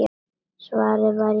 Svarið var í sjálfum mér.